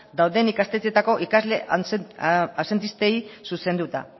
dauden ikastetxeetako ikasle absentistei zuzenduta